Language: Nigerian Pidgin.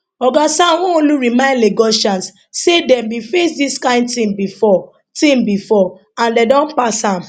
oga sanwoolu remind lagosians say dem bin face dis kain tin bifor tin bifor and dem don pass am